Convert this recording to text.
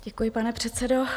Děkuji, pane předsedo.